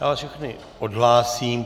Já vás všechny odhlásím.